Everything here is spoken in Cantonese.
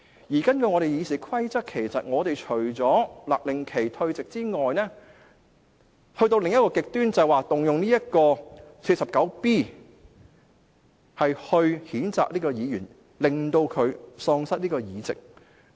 根據本會的《議事規則》，除了勒令議員退席外，另一個極端便是動用《議事規則》第 49B 條來譴責這位議員，令他喪失議席。